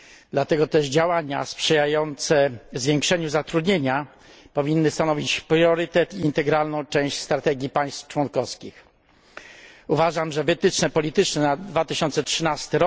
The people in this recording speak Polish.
Dlatego też działania sprzyjające zwiększeniu zatrudnienia powinny stanowić priorytet i integralną część strategii państw członkowskich. Uważam, że wytyczne polityczne na 2013